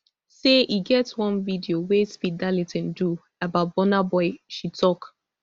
say e get one video wey speed darlington do about burna boy she tok